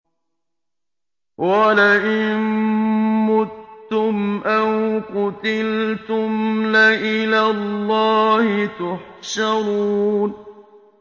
وَلَئِن مُّتُّمْ أَوْ قُتِلْتُمْ لَإِلَى اللَّهِ تُحْشَرُونَ